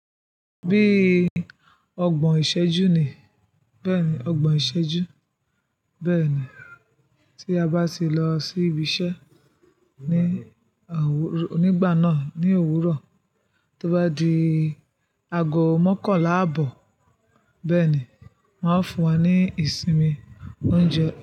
Bí ọgbọ̀n ìṣẹ́jú ni, bẹ́ẹ̀ni ọgbọ̀n ìṣẹ́jú. Bẹ́ẹ̀ni, tí a bá sì lọ sí ibi iṣẹ́ ní òwúr, nígbà náà ní òwúrọ̀, tó bá di ago mókànlá àbọ̀, bẹ́ẹ̀ni wón á fún wa ní ìsinmi oúnjẹ.